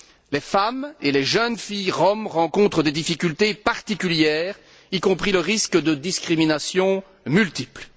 Les femmes et les jeunes filles roms rencontrent des difficultés particulières, y compris le risque de discriminations multiples.